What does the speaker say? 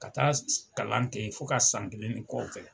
Ka taa kalan kɛ fo ka san kelen ni kɔ kɛ.